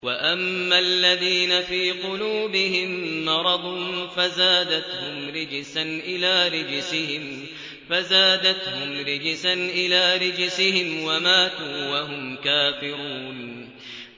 وَأَمَّا الَّذِينَ فِي قُلُوبِهِم مَّرَضٌ فَزَادَتْهُمْ رِجْسًا إِلَىٰ رِجْسِهِمْ وَمَاتُوا وَهُمْ كَافِرُونَ